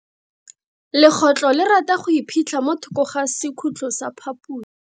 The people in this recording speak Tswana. Legotlo le rata go iphitlha mo thoko ga sekhutlo sa phaposi.